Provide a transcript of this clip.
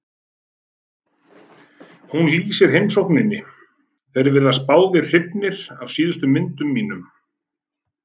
Hún lýsir heimsókninni: Þeir virtust báðir hrifnir af síðustu myndunum mínum.